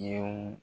Denw